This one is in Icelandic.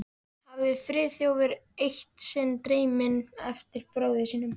hafði Friðþjófur eitt sinn dreyminn eftir bróður sínum.